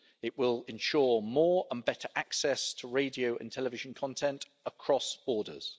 It will ensure more and better access to radio and television content across borders.